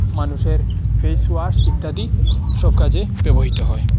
মানুষের ফেসওয়াশ ইত্যাদি সব কাজে ব্যবহৃত হয়।